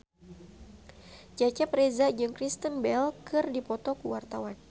Cecep Reza jeung Kristen Bell keur dipoto ku wartawan